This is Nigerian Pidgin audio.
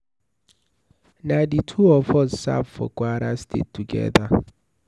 Na the two of us serve for Kwara state together.